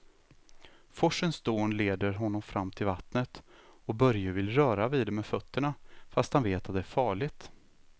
Forsens dån leder honom fram till vattnet och Börje vill röra vid det med fötterna, fast han vet att det är farligt.